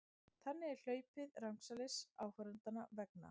Þannig er hlaupið rangsælis áhorfendanna vegna.